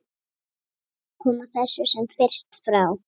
Koma þessu sem fyrst frá.